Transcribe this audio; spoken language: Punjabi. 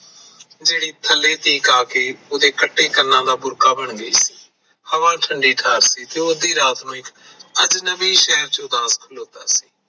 ਜਿਹੜੀ ਥੱਲੇ ਤੀਕ ਆ ਕੇ ਉਹਦੇ ਕੱਟੇ ਕੰਨਾਂ ਦਾ ਬੁਰਕਾ ਬਣ ਗਈ ਹਵਾ ਠੰਢੀ ਢਾਰ ਸੀ ਤੇ ਉਹ ਅਜਨਬੀ ਸ਼ਹਿਰ ਵਿੱਚ ਖਲੋਤਾ ਸੀ